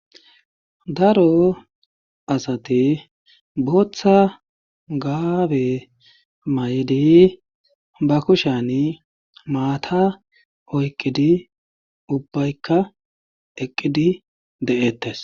Daro asati bootha gaabe mayidi ba kushani maata oyqqidi ubbaykka eqqidi de7eettees.